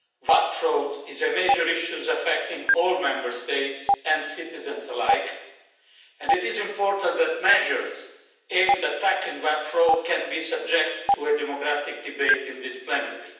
VAT fraud is a major issue affecting all Member States and citizens alike, and it is important that measures aimed at attacking VAT fraud can be subject to a democratic debate in this plenary.